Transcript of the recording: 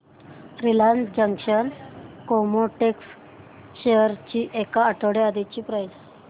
Reliance Chemotex shares ची एक आठवड्या आधीची प्राइस